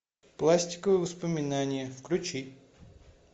пластиковые воспоминания включи